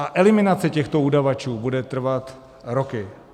A eliminace těchto udavačů bude trvat roky.